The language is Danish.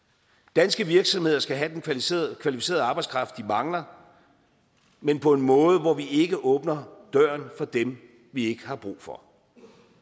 danske virksomheder skal have den kvalificerede kvalificerede arbejdskraft de mangler men på en måde hvor vi ikke åbner døren for dem vi ikke har brug for